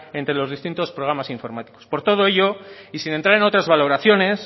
entre los distintos programas informáticos por todo ello y sin entrar en otras valoraciones